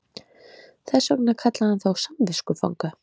Þess vegna kallaði hann þá samviskufanga